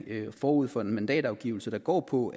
forud for en mandatafgivelse der går på